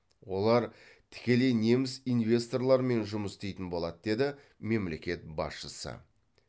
олар тікелей неміс инвесторларымен жұмыс істейтін болады деді мемлекет басшысы